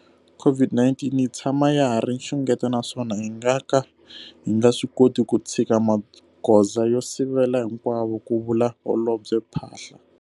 COVID-19 yi tshama ya ha ri nxungeto naswona hi nga ka hi nga swi koti ku tshika magoza yo sivela hinkwawo, ku vula Holobye Phaahla.